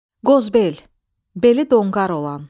Qozbel, beli donqar olan.